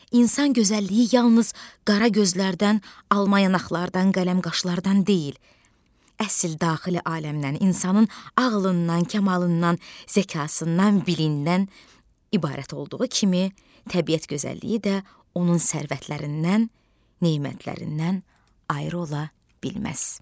İnsan gözəlliyi yalnız qara gözlərdən, al yanaqlardan, qələm qaşlardan deyil, əsl daxili aləmdən, insanın ağlından, kamalından, zəkasından, bilindən ibarət olduğu kimi, təbiət gözəlliyi də onun sərvətlərindən, nemətlərindən ayrı ola bilməz.